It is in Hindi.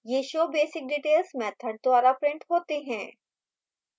ये showbasicdetails मैथड द्वारा printed होते हैं